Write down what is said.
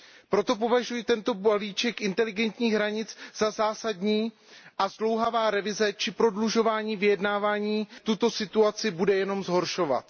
Proto považuji tento balíček inteligentních hranic za zásadní a zdlouhavá revize či prodlužování vyjednávání tuto situaci bude jenom zhoršovat.